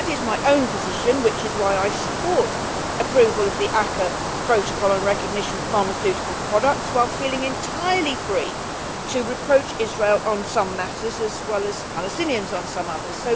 That is my own position, which is why I support approval of the ACAA Protocol on recognition of pharmaceutical products, while feeling entirely free to reproach Israel on some matters, as well as Palestinians on some others.